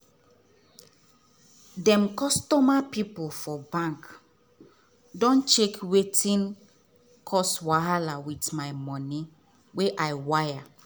dem customer service pipu for bank don check wetin cause wahala with my money wey i wire.